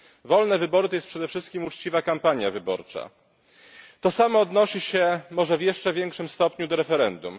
Wolne wybory to jest przede wszystkim uczciwa kampania wyborcza. To samo odnosi się może w jeszcze większym stopniu do referendum.